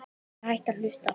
Ég hætti að hlusta.